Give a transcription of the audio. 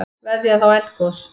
Veðjað á eldgos